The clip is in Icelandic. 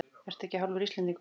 Ertu ekki hálfur Íslendingur?